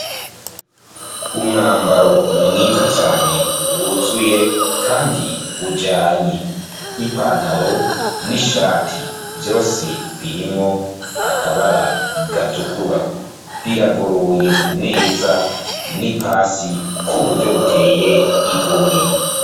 Umwambaro mwiza cane wuzuye kandi ujanye n'ipantaro n'ishati, vyose birimwo akabara gatukura biragoroye neza n'ipasi ku buryo buteye igomwe.